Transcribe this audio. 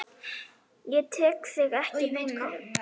Ég tek þig ekki núna.